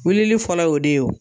Wilili fɔlɔ y'o de ye o